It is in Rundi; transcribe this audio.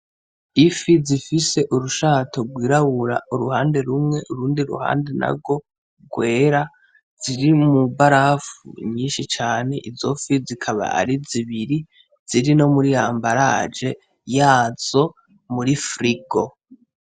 Ifif zifise urushato twirabura iruhande rumwe urundi ruhande narwo rwera, ziri mw'ibarafu nyinshi cane izo fi zikaba ari zibiri zikaba ziri muri embaraje yazo muri frigo.